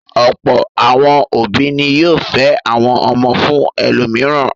Ọ̀pọ̀ àwọn òbí ni yóò fẹ́ àwọn ọmọ fún ẹlòmíràn.